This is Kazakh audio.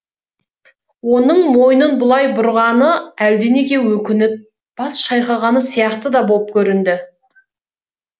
оның мойнын бұлай бұрғаны әлденеге өкініп бас шайқағаны сияқты да боп көрінді